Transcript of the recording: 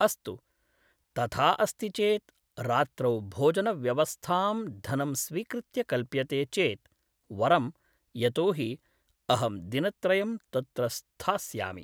अस्तु तथा अस्ति चेत् रात्रौ भोजनव्यवस्थां धनं स्वीकृत्य कल्प्यते चेत् वरं यतोऽहि अहम् दिनत्रयं तत्र स्थास्यामि